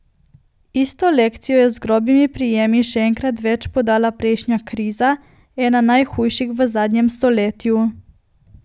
Isto lekcijo je z grobimi prijemi še enkrat več podala prejšnja kriza, ena najhujših v zadnjem stoletju.